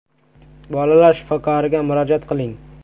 Bolalar shifokoriga murojaat qiling.